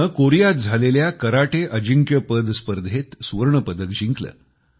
तिने कोरियात झालेल्या कराटे अजिंक्य स्पर्धेत सुवर्ण पदक जिंकले